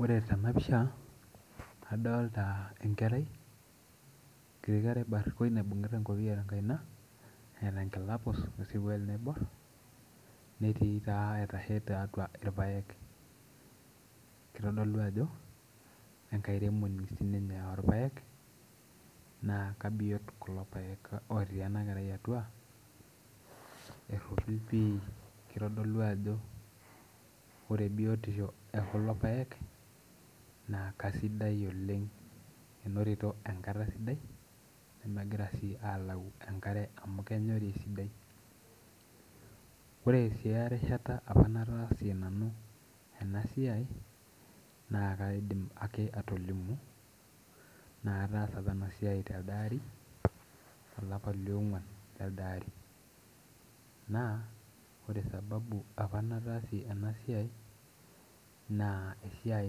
Ore tena pisha adolta enkerai enkiti kerai barrikoi naibung'ita enkopiyia tenkaina eeta enkila puus wesirkuali naiborr netii taa aitashe tiatua irpayek kitodolu ajo enkairemoni sininye orpayek naa kabiyot kulo payek otii ena kerai atua erropil pii kitodolu ajo ore biotisho ekulo payek naa kasidai oleng enotito enkata sidai nemegira sii alau enkare amu kenyori esidai ore sii erishata apa nataasie nanu ena siai naa kaidim ake atolimu naa ataasa apa ena siai telde ari olapa liong'uan lelde ari naa ore sababu apa nataasie ena siai naa esiai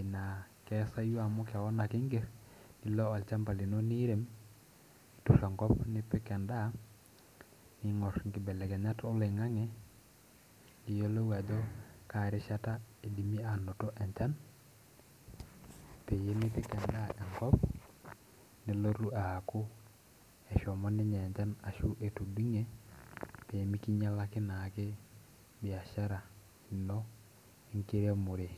naa keesayu amu kewon ake ingerr nilo olchamba lino niirem niturr enkop nipik endaa niing'orr inkibelekenyat oloing'ang'e niyiolou ajo kaa rishata idimi anoto enchan peyie mipik endaa enkop nelotu aaku eshomo ninye enchan ashu etudung'e pemikinyialaki naake biashara ino enkiremore.